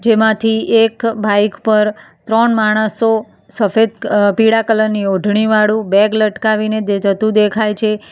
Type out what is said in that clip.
એમાંથી એક બાઈક પર ત્રણ માણસો સફેદ ક અહ પીળા કલર ની ઓઢણી વાળું બેગ લટકાવીને તે જતું દેખાય છે.